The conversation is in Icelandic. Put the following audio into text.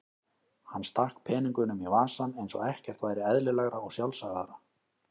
Hann stakk peningunum í vasann eins og ekkert væri eðlilegra og sjálfsagðara.